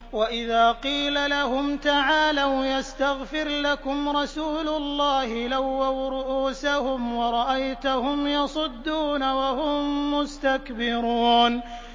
وَإِذَا قِيلَ لَهُمْ تَعَالَوْا يَسْتَغْفِرْ لَكُمْ رَسُولُ اللَّهِ لَوَّوْا رُءُوسَهُمْ وَرَأَيْتَهُمْ يَصُدُّونَ وَهُم مُّسْتَكْبِرُونَ